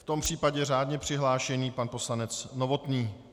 V tom případě řádně přihlášený pan poslanec Novotný.